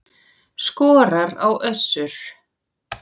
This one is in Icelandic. Skorar á Össur